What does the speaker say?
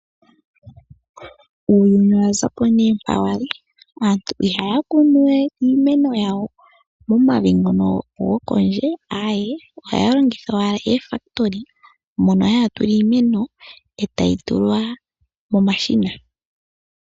Uuyuni owa za po nee mpa wali. Aantu ihaya kunu we iimeno yawo momavi ngono gokondje, aawe, ohaya longitha owala oofakitoli mono haya tula iimeno, etayi tulwa momashina.